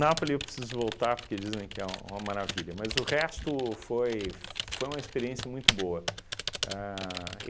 Napoli eu preciso voltar porque dizem que é uma maravilha, mas o resto foi foi uma experiência muito boa. Ahn